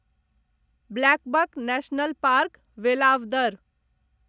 blackbuck National Park , Velavadar